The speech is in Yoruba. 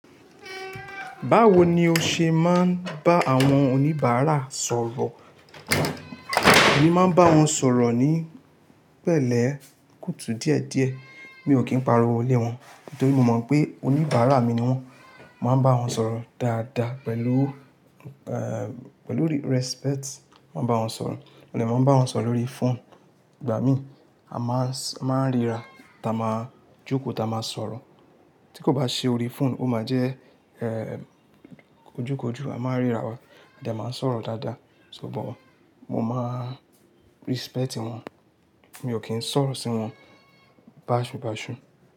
Báwo ni o ṣe máa ń bá àwọn oníbàárà sọ̀rọ̀? Èmi máa ń bá wọn sọ̀rọ̀ ní pẹ̀lẹ́, kùtù díẹ̀díẹ̀. Mi ò kí ń pariwo lé wọn, nítorí mo mọ̀ pé oníbàárà mi ni wọ́n. Mo máa ń bá wọn sọ̀rọ̀ dáadáa pẹ̀lú, pẹ̀lú respect. Mo máa ń bá wọn sọ̀rọ̀, mo dè máa ń bá wọn sọ̀rọ̀ lórí fóònù. Gba mi, a máa ń ríra, ta máa jókòó, ta máa sọ̀rọ̀. Tí kò bá ṣe ori fóònù, ó máa jẹ́, ojú kojú, a máa n ríra wa, a de máa ń sọ̀rọ̀ dáadáa. So bó, mo máa respect wọn. Mi ò kí ń sọ̀rọ̀ sí wọn báṣubàṣu.